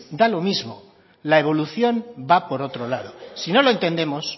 da lo mismo la evolución va por otro lado si no lo entendemos